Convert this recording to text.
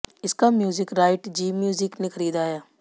इसका music right Zee music ने खरीदा है